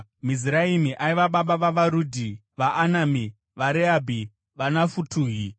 Miziraimi aiva baba vavaRudhi, vaAnami, vaRehabhi, vaNafutuhi,